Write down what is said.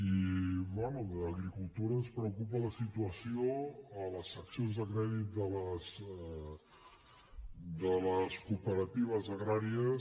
i bé d’agricultura ens preocupa la situació a les seccions de crèdit de les cooperatives agràries